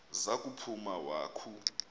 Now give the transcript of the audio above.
za kuphuma wakhu